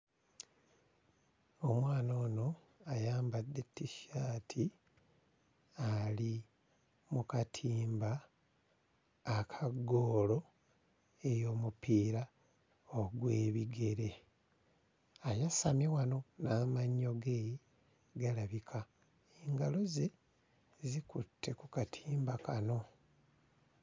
Omwana Ono ayambadde t-shirt ali mu katimba aka ggoolo ey'omupiira ogw'ebigere. Ayasamye wano n'amannyo ge balabika. Engalo ze zikutte ku katimba kano.